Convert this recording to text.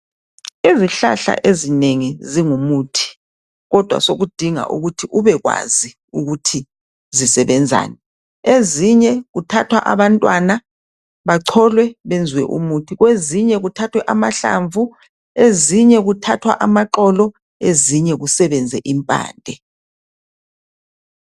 Izihlahla ezinengi zingumuthi, kodwa sekudinga ukuthi ubekwazi ukuthi zisebenzani. Ezinye kuthathwa abantwana bacholwe benzwe umuthi, ezinye kuthathwa amhlamvu, ezinye kuthathwa amaxolo, ezinye kusebenze imphande.